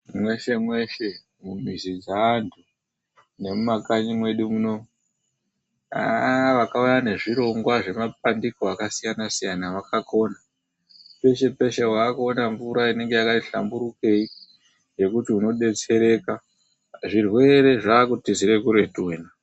Mwese mwese mumizi mwaantu nemumakanyi mwedu muno. Hah vakauya nezvirongwa zvemapandiko akasiyana siyana vakakona. Peshe peshe waakuona mvura inenge yakati hlamburukei, yekuti unodetsereka, zvirwere zvaakutizire kuretu wena.